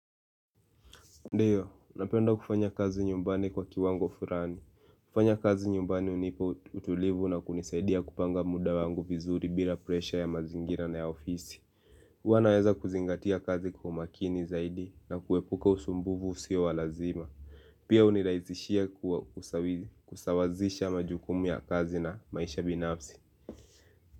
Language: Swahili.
Ndiyo, napenda kufanya kazi nyumbani kwa kiwango furani. Kufanya kazi nyumbani hunipa utulivu na kunisaidia kupanga muda wangu vizuri bila presha ya mazingira na ya ofisi. Huwa naweza kuzingatia kazi kwa umakini zaidi na kuepuka usumbufu usio wa lazima. Pia hunirahisishia kusawazisha majukumu ya kazi na maisha binafsi.